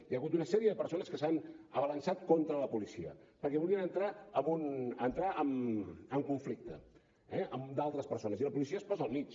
hi ha hagut una sèrie de persones que s’han abalançat contra la policia perquè volien entrar en conflicte eh amb d’altres persones i la policia es posa al mig